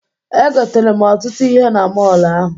Egotere m ọtụtụ ihe na mọọlụ ahụ.